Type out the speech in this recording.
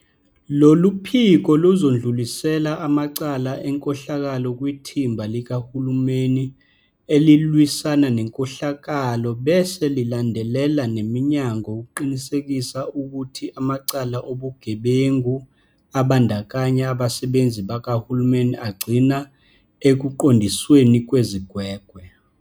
Lolu phiko luzodlulisela amacala enkohlakalo kwiThimba Likahulumeni Elilwisana Nenkohlakalo bese lilandelela neminyango ukuqinisekisa ukuthi amacala obugebengu abandakanya abasebenzi bakahulumeni agcina ekuqondisweni kwezigwegwe.